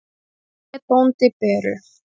Sóti hét bóndi Beru.